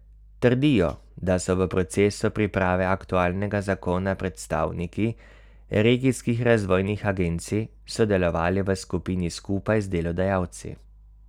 Trdijo, da so v procesu priprave aktualnega zakona predstavniki regijskih razvojnih agencij sodelovali v skupini skupaj z delodajalci.